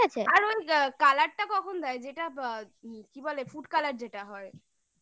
আর ওই colour টা কখন দেয় যেটা কি বলে food color যেটা হয়